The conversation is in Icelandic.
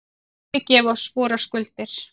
Fyrirgef oss vorar skuldir,